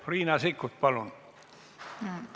Riina Sikkut, palun!